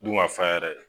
Dun ka fa yɛrɛ